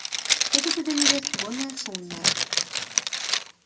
что-то ты для невесты больно шумная